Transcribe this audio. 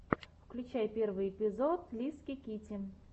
включай первый эпизод лиски китти